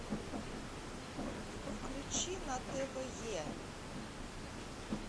включи на тв е